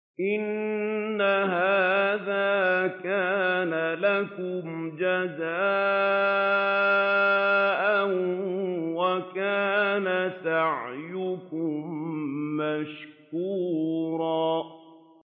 إِنَّ هَٰذَا كَانَ لَكُمْ جَزَاءً وَكَانَ سَعْيُكُم مَّشْكُورًا